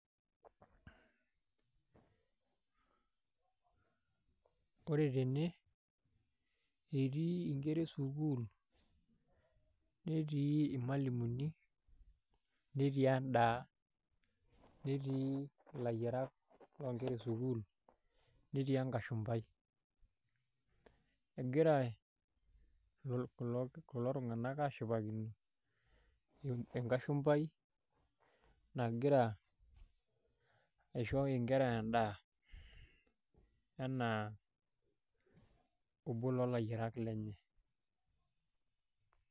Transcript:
Ore tene etii inkera esukuul netii irmalimuni netii endaa. Netii ilayiarak llonkera esukuul netii enkashumbai. Egira kulo tunganak aashipakino enkashumpai nagira aisho inkera endaa anaa obo loolayiarak lenye